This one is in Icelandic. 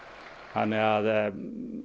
þannig að